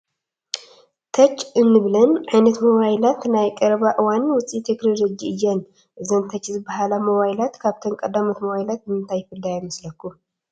ተች እንብለን ዓይነት ሞባይላት ናይ ቀረባ እዋን ውፅኢት ቴክኖሎጂ እየን፡፡ እዘን ተች ዝበሃላ ሞባይላት ካብተን ቀዳሞት ሞባይላት ብምንታይ ይፍለያ ይመስለኩም?